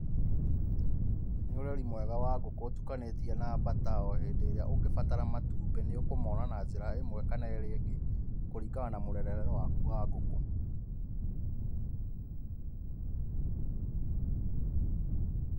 Nĩ ũreri mwega wa ngũkũ ũtukanĩtie na bata. O hĩndĩ ĩrĩa ũngĩbatara matũmbĩ nĩ ũkũmona na njĩra ĩmwe kana ĩrĩa ĩngĩ kũrĩngana na mũrerere wakũ wa ngũkũ.